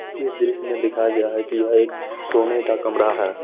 ये दृश्य में दिखाए गया है की यहाँ सोने का कमरा है।